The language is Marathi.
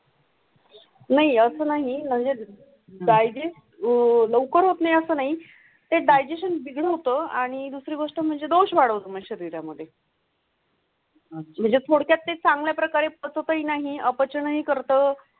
नाही असं नाही मंजे डायजेस्ट लवकर होत नाही अस नाही ते डायजेश्शन बिघाड होतो आणि दुसरी गोष्ट म्हणजे दोष वाढून शरीरामध्ये. म्हणजे थोडक्यात ते चांगल्या प्रकारे तुम्ही नाही अपचनही करतो.